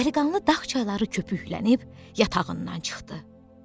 Dəliqanlı dağ çayları köpüklənib yatağından çıxdı.